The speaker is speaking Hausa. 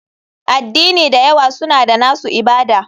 Addini da yawa suna da nasu ibada.